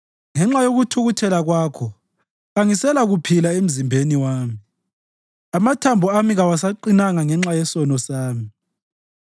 Ngenxa yokuthukuthela kwakho kangiselakuphila emzimbeni wami; amathambo ami kawasaqinanga ngenxa yesono sami.